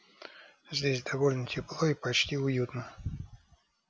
здесь довольно тепло и почти уютно